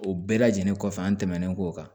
O bɛɛ lajɛlen kɔfɛ an tɛmɛnen k'o kan